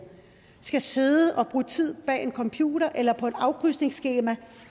skal sidde og bruge tid bag en computer eller på et afkrydsningsskema